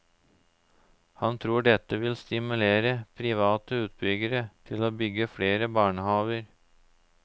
Han tror dette vil stimulere private utbyggere til å bygge flere barnehaver.